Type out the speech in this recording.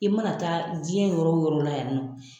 I mana taa jiɲɛn yɔrɔ o yɔrɔ la yan ni nɔ